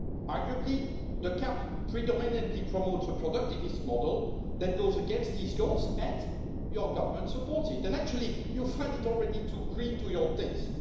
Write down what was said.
Arguably, the CAP predominantly promotes a productivist model that goes against these goals and your government supports it and actually you find it already too green for your taste.